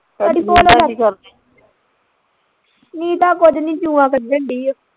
ਨੀਤਾ ਕੁਝ ਨੀ ਜੂੰਆਂ ਕੱਢਣ ਦੀ ਓ